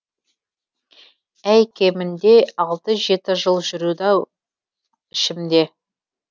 әй кемінде алты жеті жыл жүрді ау ішімде